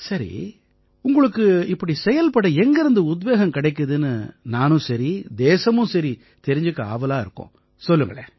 சரி உங்களுக்கு இப்படி செயல்பட எங்கிருந்து உத்வேகம் கிடைக்குதுன்னு நானும் சரி தேசமும் சரி தெரிஞ்சுக்க ஆவலா இருக்கோம் சொல்லுங்களேன்